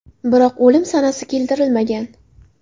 Biroq o‘lim sanasi keltirilmagan.